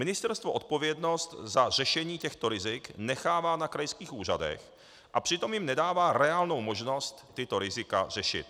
Ministerstvo odpovědnost za řešení těchto rizik nechává na krajských úřadech a přitom jim nedává reálnou možnost tato rizika řešit.